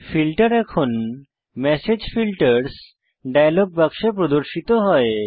filter এখন message filters dialog বাক্সে প্রদর্শিত হয়